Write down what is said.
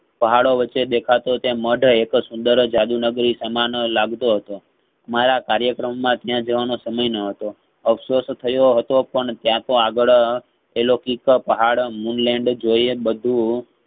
પહાડો વચ્ચે દેખાતો તે મઢ એક સુંદર જાદુ નગરી સમાન લાગ તો હતો. મારા કાર્યકમાં ત્યાં જવાનો સમય નહતો એ સોસ થયો હતો ત્યાંતો આગળ અલોકિક પહાડ moon land જોયે બાધૂ ~ધૂ અ